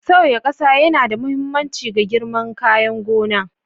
Sauya ƙasa yana da mahimmanci ga girman kayan gona.